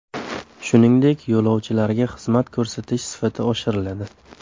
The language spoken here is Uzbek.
Shuningdek, yo‘lovchilarga xizmat ko‘rsatish sifati oshiriladi.